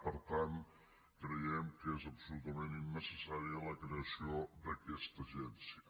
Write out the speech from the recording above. per tant creiem que és absolutament innecessària la creació d’aquesta agència